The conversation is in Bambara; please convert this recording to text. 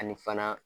Ani fana